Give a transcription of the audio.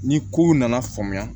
Ni kow nana faamuya